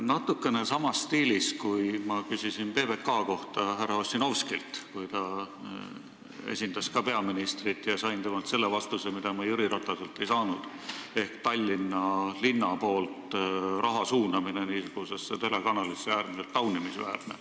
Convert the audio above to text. Natukene samas stiilis, kui ma küsisin PBK kohta härra Ossinovskilt, kui ta esindas ka peaministrit, sain temalt selle vastuse, mida ma Jüri Rataselt ei saanud ehk et Tallinna linna raha suunamine niisugusesse telekanalisse on äärmiselt taunimisväärne.